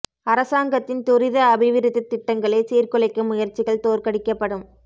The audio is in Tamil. அரசாங்கத்தின் துரித அபிவிருத்தி திட்டங்களை சீர்குலைக்கும் முயற்சிகள் தோற்கடிக்கப்படும்